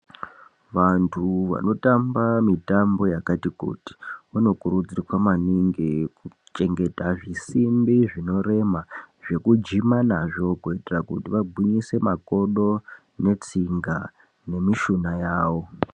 Vantu vanotamba mitambo yakati kuti vanokurudzirwa maningi kuchengeta zvisimbi zvinorema zvekujima nazvo kuitira kuti vagwinyise makodo netsinga nemishuna yavo.